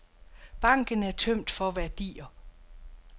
Banken er tømt for værdier.